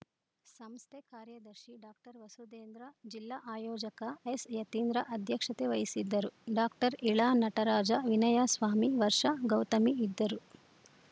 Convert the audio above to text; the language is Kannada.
ಸಂಸ್ಥೆ ಕಾರ್ಯದರ್ಶಿ ಡಾಕ್ಟರ್ ವಸುದೇಂದ್ರ ಜಿಲ್ಲಾ ಆಯೋಜಕ ಎಸ್‌ಯತೀಂದ್ರ ಅಧ್ಯಕ್ಷತೆ ವಹಿಸಿದ್ದರು ಡಾಕ್ಟರ್ ಇಳಾನಟರಾಜ ವಿನಯ ಸ್ವಾಮಿ ವರ್ಷಾ ಗೌತಮಿ ಇದ್ದರು